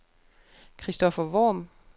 Christoffer Worm